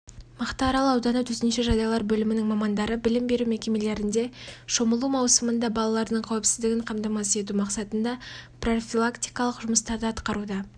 мақтаарал ауданы төтенше жағдайлар бөлімінің мамандары білім беру мекемелерінде шомылу маусымында балалардың қауіпсіздігін қамтамасыз ету мақсатында прорфилактикалық жұмыстарды атқаруда